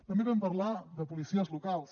també vam parlar de policies locals